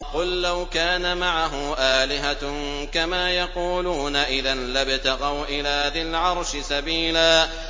قُل لَّوْ كَانَ مَعَهُ آلِهَةٌ كَمَا يَقُولُونَ إِذًا لَّابْتَغَوْا إِلَىٰ ذِي الْعَرْشِ سَبِيلًا